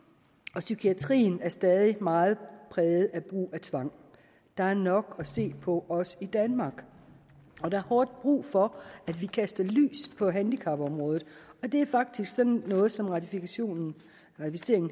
og psykiatrien er stadig meget præget af brugen af tvang der er nok at se på også i danmark og der er hårdt brug for at vi kaster lys over handicapområdet og det er faktisk sådan noget som ratificering